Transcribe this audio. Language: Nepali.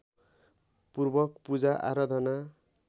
पूर्वक पूजा आराधना